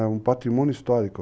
É um patrimônio histórico.